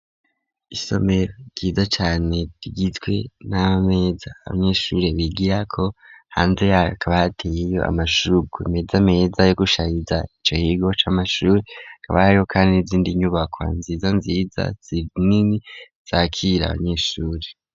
Isomero ryiza cane ryitwe n'abameza abanyeshure bigirako hanze yakabateyeyo amashugwe imeze ameza yo gushariza ico kigo c'amashure y'indaro kabariho kandi n'izindi nyubako nziza nziza zinini zakira abanyeshure.